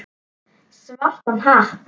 Svartan hatt.